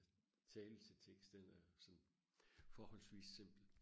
tale til tekst den er jo sådan forholdsvis simpel